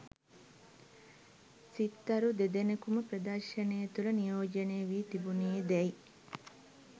සිත්තරු දෙදෙනෙකුම ප්‍රදර්ශනය තුළ නියෝජනය වී තිබුණේදැයි